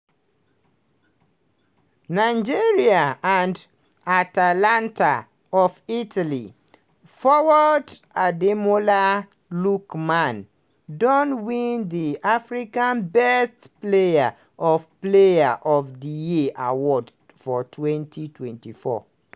nigeria and atalanta of italy forward ademola lookman don win di africa best player of player of di year award for 2024.